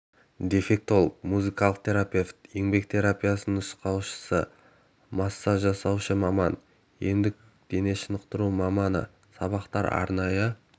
дефектолог музыкалық терапевт еңбек терапиясының нұсқаушысы массаж жасаушы маман емдік дене шынықтыру маманы сабақтар арнайы